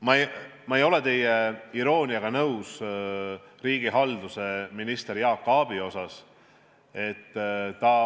Ma ei ole nõus teie irooniaga riigihalduse ministri Jaak Aabi suhtes.